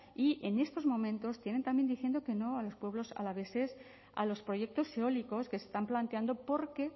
y en estos momentos tienen también diciendo que no a los pueblos alaveses a los proyectos eólicos que se están planteando porque